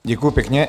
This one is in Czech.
Děkuji pěkně.